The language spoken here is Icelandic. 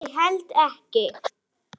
Ég held ekki.